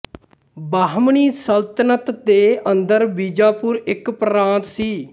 ਬਹਮਨੀ ਸਲਤਨਤ ਦੇ ਅੰਦਰ ਬੀਜਾਪੁਰ ਇੱਕ ਪ੍ਰਾਂਤ ਸੀ